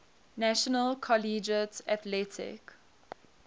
national collegiate athletic